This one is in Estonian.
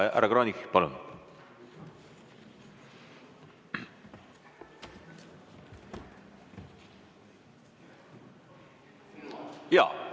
Härra Kranich, palun!